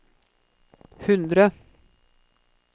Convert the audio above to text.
hundre